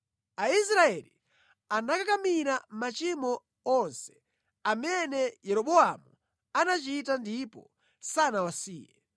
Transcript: Aisraeli anakakamira machimo onse amene Yeroboamu anachita ndipo sanawasiye